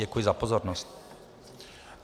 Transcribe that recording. Děkuji za pozornost.